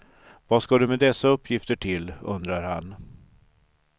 Vad ska du med dessa uppgifter till, undrar han.